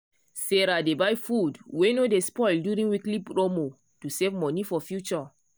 sarah dey buy food wey no dey spoil during weekly promo to save money for future.